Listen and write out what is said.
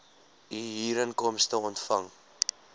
u huurinkomste ontvang